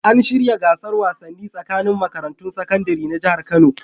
An shirya gasar wasannai tsakanin makarantun sakandare na Jihar Kano.